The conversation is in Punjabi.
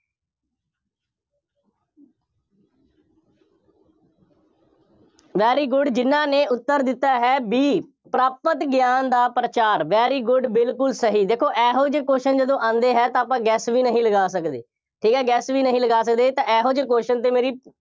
very good ਜਿੰਨ੍ਹਾ ਨੇ ਉੱਤਰ ਦਿੱਤਾ ਹੈ B ਪ੍ਰਾਪਤ ਗਿਆਨ ਦਾ ਪ੍ਰਚਾਰ, very good ਬਿਲਕੁੱਲ ਸਹੀ, ਦੇਖੋ ਇਹੋ ਜਿਹੇ question ਜਦੋਂ ਆਉਂਦੇ ਹੈ ਤਾਂ ਆਪਾਂ guess ਵੀ ਨਹੀਂ ਲਗਾ ਸਕਦੇ, ਠੀਕ ਹੈ, guess ਵੀ ਨਹੀਂ ਲਗਾ ਸਕਦੇ, ਤਾਂ ਇਹੋ ਜਿਹੇ question ਤੇ ਮੇਰੀ,